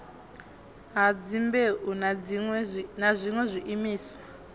ha dzimbeu na zwiṋwe zwiimiswa